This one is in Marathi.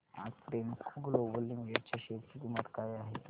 आज प्रेमको ग्लोबल लिमिटेड च्या शेअर ची किंमत काय आहे